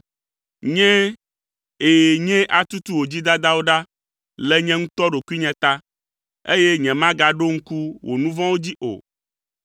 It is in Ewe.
“Nyee, ɛ̃, nyee atutu wò dzidadawo ɖa le nye ŋutɔ ɖokuinye ta, eye nyemagaɖo ŋku wò nu vɔ̃wo dzi o.